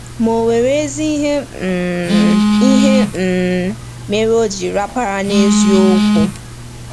Ma o nwere ezi ihe um ihe um mere o ji rapara n’eziokwu.